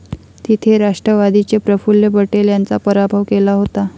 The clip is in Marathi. तिथे राष्ट्रवादीचे प्रफुल्ल पटेल यांचा पराभव केला होता.